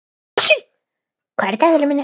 Fúsi, hvað er í dagatalinu í dag?